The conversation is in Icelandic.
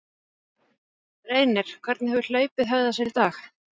Reynir, hvernig hefur hlaupið hegðað sér í dag?